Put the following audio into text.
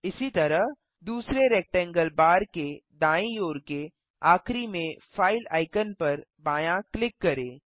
इसी तरह दूसरे रेक्टेंगल बार के दायीं ओर के आखिरी में फाइल आइकन पर बायाँ क्लिक करें